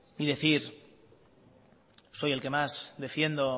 y decir soy el que más defiendo